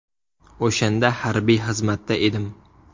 O‘shanda harbiy xizmatda edim.